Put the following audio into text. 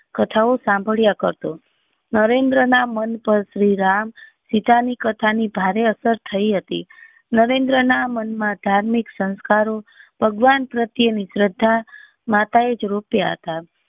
કથાઓ સાંભળ્યા કરતો નરેન્દ્ર ના મન પર શ્રી રામ સીતા ની કથા ની ભારે અસર થઇ હતી નરેન્દ્ર ના મન માં ધાર્મિક સંસ્કારો ભગવાન પ્રત્યે ની શ્રધા